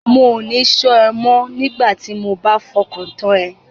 Mò ní ṣọ́ ẹ mọ́ nigbati mo bá fọkàn tán ẹ.